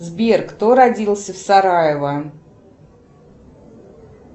сбер кто родился в сараево